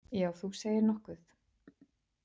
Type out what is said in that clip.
Já, þú segir nokkuð!